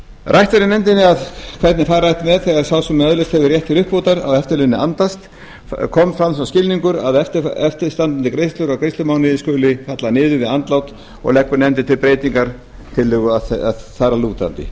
rætt var í nefndinni hvernig fara ætti með það þegar sá sem öðlast hefur rétt til uppbótar á eftirlaun andast fram kom sá skilningur að eftirstandandi greiðslur á greiðslutímabili skuli falla niður við andlát og leggur nefndin til breytingartillögu þar